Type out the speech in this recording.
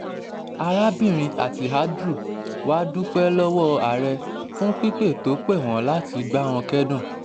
arábìnrin attihadru wàá dúpẹ́ lọ́wọ́ ààrẹ fún pípè tó pè wọ́n láti bá wọn kẹ́dùn